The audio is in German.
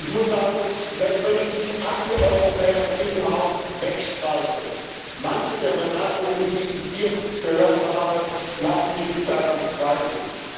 Ich muss sagen Selbst wenn ich die Antieuropäer in diesem Haus wegstreiche manche der Bemerkungen, die ich hier gehört habe, lassen mich daran zweifeln.